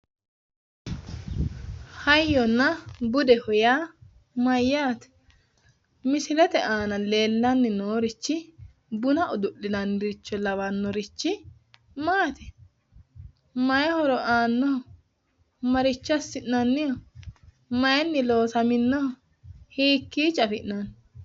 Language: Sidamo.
Hayyonna budeho yaa mayyaate? Misilete aana leellanni noorichi buna udu'linaniricho lawannorichi maati? Mayi horo aannoho? Maricho assi'nanniho? Mayinni loosaminnoho? Hiikkiicho afi'nanni?